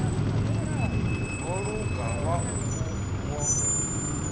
ho luga wau u woṱhe